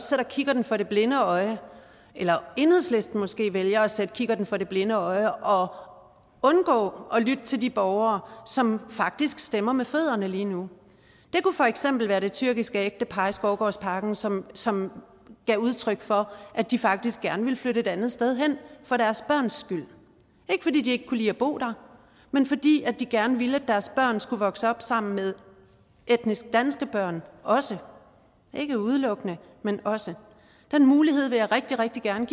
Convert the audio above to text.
sætter kikkerten for det blinde øje eller om enhedslisten måske vælger at sætte kikkerten for det blinde øje og undgår at lytte til de borgere som faktisk stemmer med fødderne lige nu det kunne for eksempel være det tyrkiske ægtepar i skovgårdsparken som som gav udtryk for at de faktisk gerne ville flytte et andet sted hen for deres børns skyld ikke fordi de ikke kunne lide at bo der men fordi de gerne ville at deres børn skulle vokse op sammen med etnisk danske børn også ikke udelukkende men også den mulighed vil jeg rigtig rigtig gerne